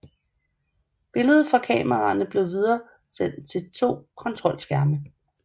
Billedet fra kameraerne blev videresendt til to kontrolskærme